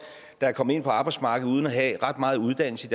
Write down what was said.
der er kommet ind på arbejdsmarkedet uden at have ret meget uddannelse